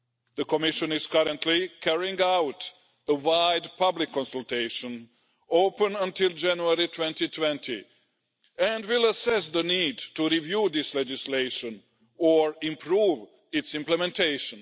The Commission is currently carrying out a wide public consultation, open until January 2020, and will assess the need to review this legislation or improve its implementation.